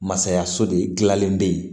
Masayaso de gilalen bɛ yen